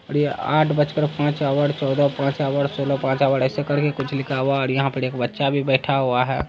--और ये आठ बज कर पांच ऑवर चौदह पांच ऑवर सोलह पांच ऑवर ऐसा करके कुछ लिखा हुआ है और यहा पर एक बच्चा भी बैठा हुआ हैं।